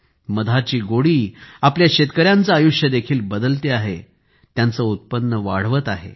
मधाची गोडी आपल्या शेतकऱ्यांचं आयुष्य देखील बदलत आहे त्यांचे उत्पन्न वाढवत आहेत